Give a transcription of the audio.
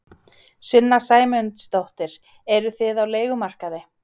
Sunna Sæmundsdóttir: Eruð þið á leigumarkaði?